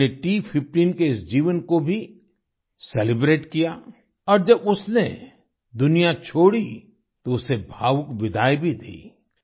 हमने T15 के इस जीवन को भी सेलिब्रेट किया और जब उसने दुनिया छोड़ी तो उसे भावुक विदाई भी दी